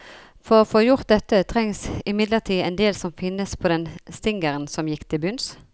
For å få gjort dette, trengs imidlertid en del som finnes på den stingeren som gikk til bunns.